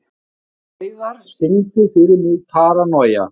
Hleiðar, syngdu fyrir mig „Paranoia“.